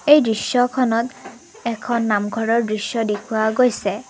এই দৃশ্যখনত এখন নামঘৰৰ দৃশ্য দেখুওৱা গৈছে।